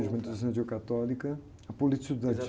A Juventude Estudantil Católica, a Política Estudantil.